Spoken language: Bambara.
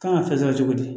Kan ka fɛn sɔrɔ cogo di